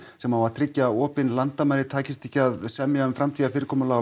sem á að tryggja opin landamæri takist ekki að semja um framtíðarfyrirkomulag